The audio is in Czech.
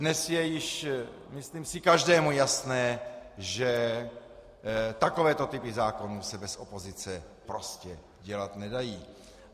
Dnes je již, myslím si, každému jasné, že takovéto typy zákony se bez opozice prostě dělat nedají.